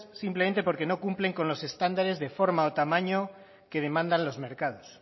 simplemente porque no cumplen con los estándares de forma o tamaño que demandan los mercados